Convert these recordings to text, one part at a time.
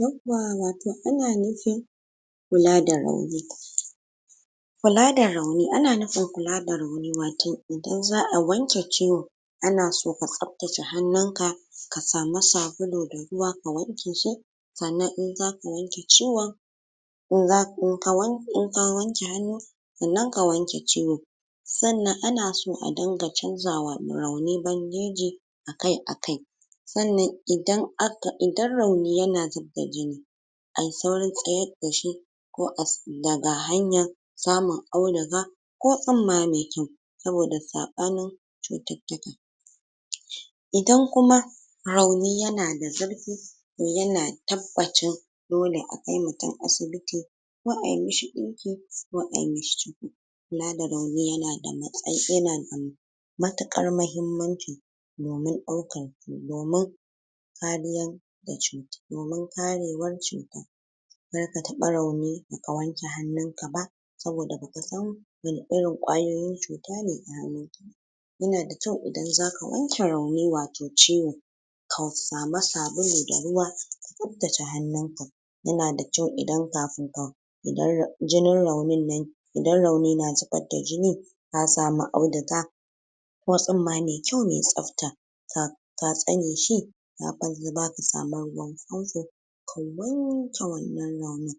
yauwa wato ana nufin kula da rauni kula da rauni, ana nufin kula da rauni wato idan zaa wanke ciwo ana so ka tsaftace hanun ka ka samu sabulu da ruwa ka wanke shi san nan in zaka wanke ciwon in ka wanke. in ka wanke hanu, san nan ka wanke ciwo san nan anaso a dinka chanja wa rauni bandeji akai akai, san nan idan a aka, idan rauni yana zubar da jini ayi saurin tsayar da shi ko as daga hanya samun auduga ko tsimma me kyau, sabo da sabanin cutittika idan kuma rauni yana da zurfi to yana tabbacin dole akai mutun asibiti ko ai mishi dinki ko ai mishio ciko kula da rauni yana da matsa yana da matukar mahimmanci domin daukan, domin kariyar da, domin karewar cuta zaka taba rauni baka wanke hanunkaba sabo da baka san wanne irin kwayoyin cutane a hanunkaba yana da kyau idin zaka wanke rauni wato ciwo ka samu sabulu da ruwa ka tsabtace hanunka yana da kyau idan kafin ka, idan ra jinin raunin nan idan rauni na zubar da jini na samu auduga ko tsumma mai kyau mai tsabta ka ka tsameshi ka wanke wannan raunin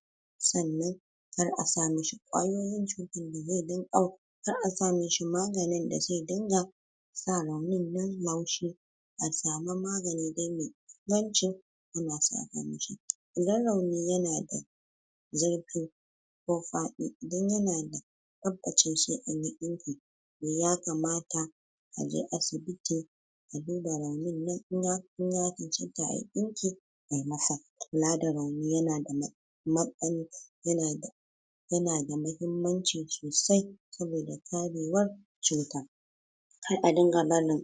sai nan kar a samishi kwayoyin cutan da zai rinka au kar a sa mishi maganin da zai rinka sa raunin nan laushi a samu magani dai mai inganci yana sa laushi idan rauni yana da zirfi, ko fadi, idan yana da tabbacin sai anyi dinki to ya kamata a je asibiti aduba raunin nan inya ya chanchanta ayi dinki ai masa kula da rauni, yana da mahimman ya na da yana da mahimmanci sosai sabo da karewar cuta kar a rinka barin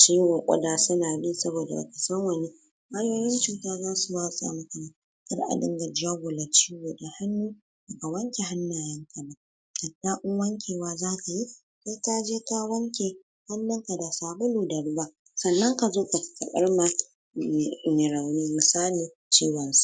ciwo kudi suna bi, sabo da baa san wanne hanyoyin cuta zasu watsa muku, kar a rinka jagula ciwo da hannu ga wanke hannayenka ba, hatta in wankewa zakayi sai kaje ka wanke hannuka da sabulu da ruwa san nan ka zo, ka burma mai rauni, misali, ciwon so